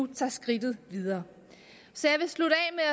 tager skridtet videre så jeg vil slutte